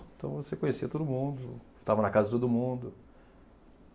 Então, você conhecia todo mundo, estava na casa de todo mundo.